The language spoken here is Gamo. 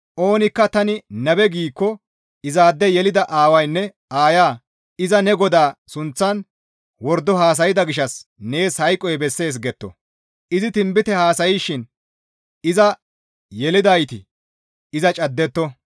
Oonikka tani nabe giikko izaade yelida aawaynne aayeya iza ne GODAA sunththan wordo haasayda gishshas nees hayqoy bessees getto; izi tinbite haasayshin iza yelidayti iza caddetto.